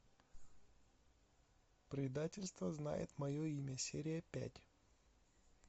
предательство знает мое имя серия пять